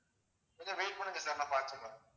கொஞ்சம் wait பண்ணுங்க sir நான் பாத்து சொல்றேன்